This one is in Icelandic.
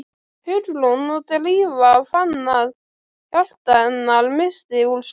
Hugrún og Drífa fann að hjarta hennar missti úr slag.